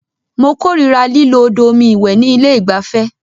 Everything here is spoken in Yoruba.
Mó kòrira lílo odò omi ìwẹ̀ ní ilé ìgbafẹ́.